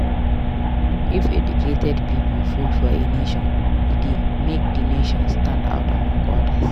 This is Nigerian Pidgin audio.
If educated pipo full for a nation a de make di nation stand out among others